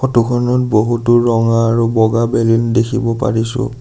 Photo খনত বহুতো ৰঙা আৰু বগা বেলুন দেখিব পাৰিছোঁ।